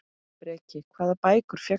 Breki: Hvaða bækur fékkstu?